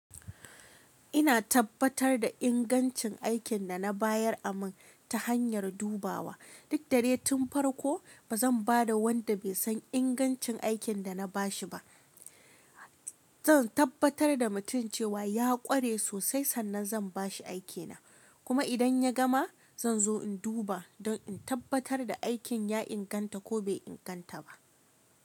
Ina tabbatar da ingancin aikin da na bayar a min ta hanyar dubawa. Duk dare tun farko ba zan ba da wanda bai san ingancin aikin da na bashi ba. Zan tabbatar da mutum cewa ya ƙware sosai sannan zan ba shi aikina. Kuma idan ya gama, zan zo in duba don in tabbatar da aikin ya inganta ko bai inganta ba.